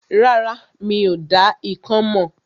Rárá, mi ò dá ikán mọ̀